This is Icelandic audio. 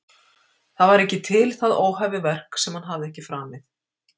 Það var ekki til það óhæfuverk sem hann hafði ekki framið